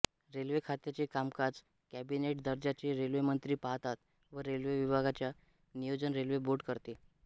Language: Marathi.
रेल्वे खात्याचे कामकाज कॅबिनेट दर्जाचे रेल्वेमंत्री पाहतात व रेल्वे विभागाचे नियोजन रेल्वे बोर्ड करते